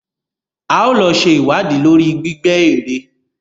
A ó lọ ṣe ìwádìí lórí gbígbẹ́ èrè.